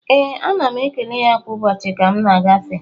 Ee, ana m ekele ya kwa ụbọchị ka m na-agafe